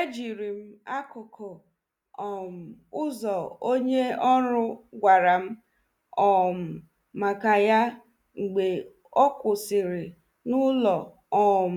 E jirim akụkụ um ụzo onye ọrụ gwaram um maka ya mgbe ọ kwụsiri n'ụlo um